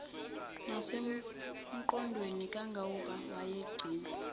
nasengqondweni kangangoba wayegcina